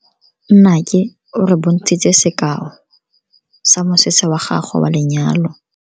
Nnake o re bontshitse sekaô sa mosese wa gagwe wa lenyalo.